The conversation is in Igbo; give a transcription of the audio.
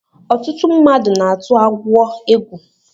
Ọtụtụ mmadụ na-atụ agwọ egwu